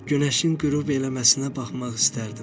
Günəşin qürub eləməsinə baxmaq istərdim.